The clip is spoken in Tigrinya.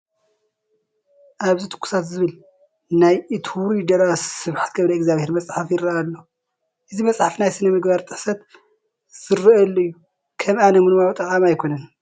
ኣብዚ ትኩሳት ዝበሃል ናይ እቲ ውሩይ ደራሲ ስብሓት ገብረእግዚኣብሄር መፅሓፍ ይርአ ኣሎ፡፡ እዚ መፅሓፍ ናይ ስነ ምግባር ጥሕሰት ዝርአየሉ እዩ፡፡ ከም ኣነ ምንባቡ ጠቓሚ ኣይኮነን፡፡